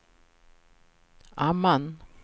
Amman